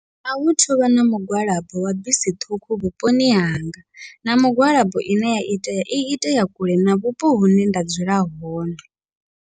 Ahu thuvha na mugwalabo wa bisi ṱhukhu vhuponi hanga, na mugwalabo ine ya itea i itea kule na vhupo hune nda dzula hone.